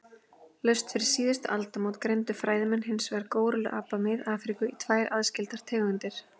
Laust fyrir síðustu aldamót greindu fræðimenn hinsvegar górilluapa Mið-Afríku í tvær aðskildar tegundir.